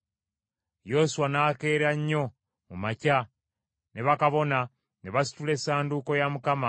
Yoswa n’akeera nnyo mu makya, ne bakabona ne basitula Essanduuko ya Mukama ,